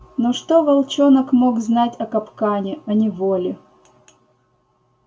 но что волчонок мог знать о капкане о неволе